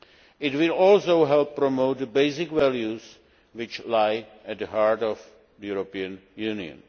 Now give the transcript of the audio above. It will also help promote the basic values which lie at the heart of the European Union.